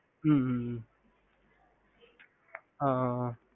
ஹம்